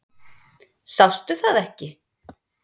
Sástu það ekki?